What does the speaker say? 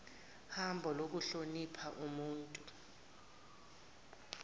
hambo lokuhlonipha ubuntu